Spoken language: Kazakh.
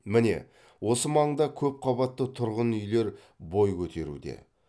міне осы маңда көпқабатты тұрғын үйлер бой көтеруде